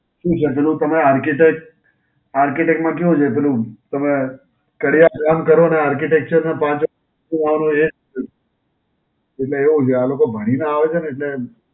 શું છે પેલું તમે Architect Architect, માં કેવું છે? પેલું તમે કરીઆ ફોન કરો છો Architecture ને પાંચ, જોવાનું એ જ, એટલે એવું છે. આ લોકો ભણીને આવે છે ને એટલે